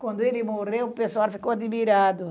Quando ele morreu, o pessoal ficou admirado.